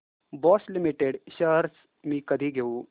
Bosch limited shares मी कधी घेऊ